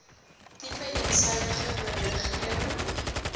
tipe eensydige beriggewing